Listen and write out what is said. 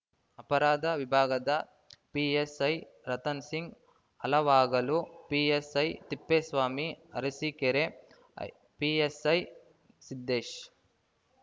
ಅಪರಾಧ ವಿಭಾಗದ PSI Ratansingh Halavagalu PSI Thippeswamy Arsikere PSI Siddesh